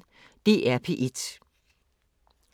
DR P1